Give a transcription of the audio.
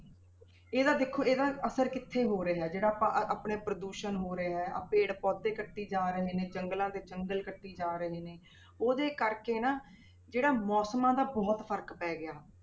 ਇਹਦਾ ਦੇਖੋ ਇਹਦਾ ਅਸਰ ਕਿੱਥੇ ਹੋ ਰਿਹਾ ਹੈ, ਜਿਹੜਾ ਆਪਾਂ ਆਪਣੇ ਪ੍ਰਦੂਸ਼ਣ ਹੋ ਰਿਹਾ ਹੈ ਆਹ ਪੇੜ ਪੌਦੇ ਕੱਟੀ ਜਾ ਰਹੇ ਨੇ, ਜੰਗਲਾਂ ਦੇ ਜੰਗਲ ਕੱਟੀ ਜਾ ਰਹੇ ਨੇ ਉਹਦੇ ਕਰਕੇ ਨਾ ਜਿਹੜਾ ਮੌਸਮਾਂ ਦਾ ਬਹੁਤ ਫ਼ਰਕ ਪੈ ਗਿਆ।